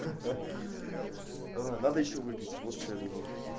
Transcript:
ха-ха надо ещё выпить вот что я думаю